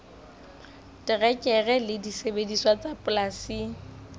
terekere le disebediswa tsa polasing